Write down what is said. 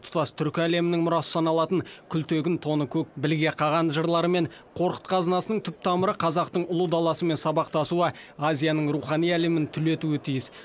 тұтас түркі әлемінің мұрасы саналатын күлтегін тоныкөк білге қаған жырлары мен қорқыт қазынасының түп тамыры қазақтың ұлы даласымен сабақтасуы азияның рухани әлемін түлетуі тиіс